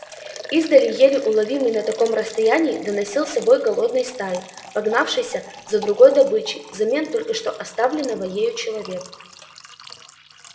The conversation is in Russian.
издали еле уловимый на таком расстоянии доносился вой голодной стаи погнавшейся за другой добычей взамен только что оставленного ею человека